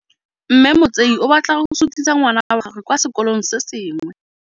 Mme Motsei o batla go sutisa ngwana wa gagwe kwa sekolong se sengwe.